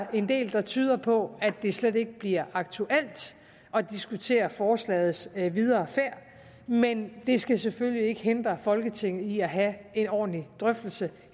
er en del der tyder på at det slet ikke bliver aktuelt at diskutere forslagets videre færd men det skal selvfølgelig ikke hindre folketinget i at have en ordentlig drøftelse